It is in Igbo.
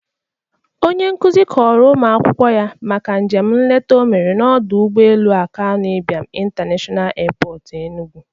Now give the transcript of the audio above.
Onye nkuzi a kọrọ ụmụ akwụkwọ ya maka njem nleta o mere n'ọdọ ụgbọelu Akanụ Ibiam International Airport Enugu.